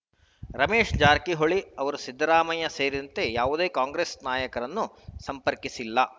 ರಮೇಶ್‌ ಜಾರಕಿಹೊಳಿ ಅವರು ಸಿದ್ದರಾಮಯ್ಯ ಸೇರಿದಂತೆ ಯಾವುದೇ ಕಾಂಗ್ರೆಸ್‌ ನಾಯಕರನ್ನು ಸಂಪರ್ಕಿಸಿಲ್ಲ